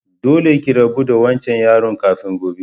Dolle ki rabu da wancan yaron kafin gobe!